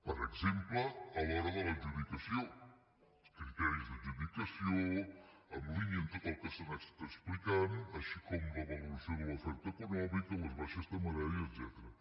per exemple a l’hora de l’adjudicació els criteris d’adjudicació en línia amb tot el que s’ha anat explicant com també la valoració de l’oferta econòmica les baixes temeràries etcètera